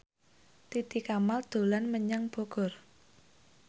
Titi Kamal dolan menyang Bogor